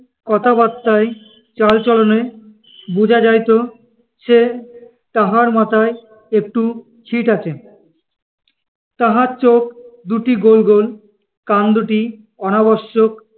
কথা-বার্তায়, চাল-চলনে, বোঝা যাইত যে তাহার মাথায় একটু ছিট আছে। তাহার চোখ দুটি গোল গোল, কান দুটি অনাবশ্যক-